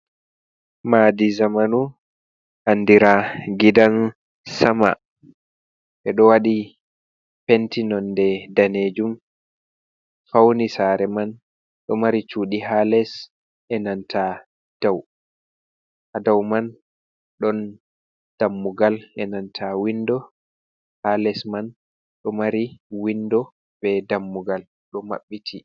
Madi zamanu andira gidan sama, ɓe ɗo waɗi penti nonde danejum fauni sare man do mari cudi ha les, dau man ɗon dammugal e nanta windo, ha les man ɗo mari windo be dammugal ɗo maɓɓiti.